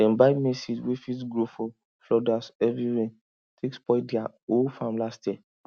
dem buy maize seed wey fit grow for floodas heavy rain take spoil their whole farm last year